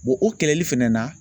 o kɛlɛli fɛnɛ na.